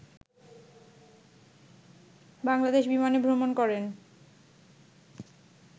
বাংলাদেশ বিমানে ভ্রমণ করেন